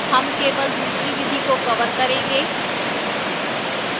हम केवल दूसरी विधि को cover करेंगे